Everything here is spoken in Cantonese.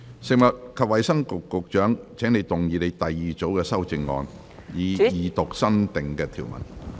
食物及衞生局局長，請動議你的第二組修正案，以二讀新訂條文。